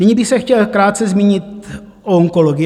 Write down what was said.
Nyní bych se chtěl krátce zmínit o onkologii.